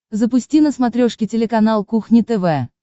запусти на смотрешке телеканал кухня тв